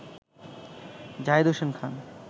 Zahed Hossain Khan